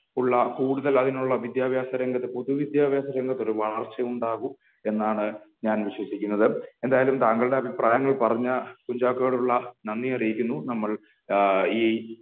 ഉള്ള കൂടുതൽ അതിനുള്ള വിദ്യാഭ്യാസ രംഗത്ത് പൊതു വിദ്യാഭ്യാസ രംഗത്ത് ഒരു വളർച്ചയുണ്ടാകും എന്നാണ് ഞാൻ വിശ്വസിക്കുന്നത് എന്തായാലും താങ്കളുടെ അഭിപ്രായങ്ങൾ പറഞ്ഞ കുഞ്ചാക്കോയോടുള്ള നന്ദി അറിയിക്കുന്നു നമ്മൾ ഏഹ് ഈ